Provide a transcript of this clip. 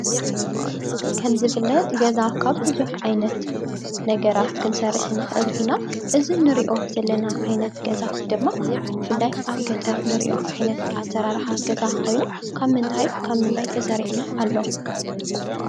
ከም ዝፍለጥ ገዛ ካብ ብዙሕ ዓይነት ነገራት ክንሰርሕ ንኽእል ኢና፡፡ እዚ ንሪኦ ዘለና ዓይነት ገዛ ድማ ብፍላይ ኣብ ገጠር ንሪኦ ዓይነት ኣሰራርሓ ገዛ ኾይኑ ካብ ምንታይ ካብ ምንታይ ተሰሪሑ ኣሎ?